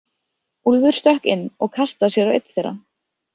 Úlfur stökk inn og kastaði sér á einn þeirra.